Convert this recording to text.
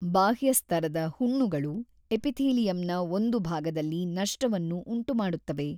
ಬಾಹ್ಯಸ್ತರದ ಹುಣ್ಣುಗಳು ಎಪಿಥೀಲಿಯಂನ ಒಂದು ಭಾಗದಲ್ಲಿ ನಷ್ಟವನ್ನು ಉಂಟುಮಾಡುತ್ತವೆ.